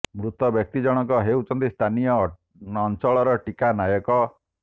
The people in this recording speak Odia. ମୃତ ବ୍ୟକ୍ତି ଜଣକ ହେଉଛନ୍ତି ସ୍ଥାନୀୟ ଅଞ୍ଚଳର ଟୀକା ନାୟକ